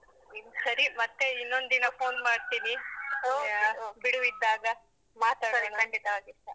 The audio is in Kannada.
ಸರಿ ಮತ್ತೆ ಇನ್ನೊಂದು ದಿನ phone ಮಾಡ್ತೀನಿ. okay ಯಾ? ಬಿಡುವಿದ್ದಾಗ. ಖಂಡಿತವಾಗಿಸ.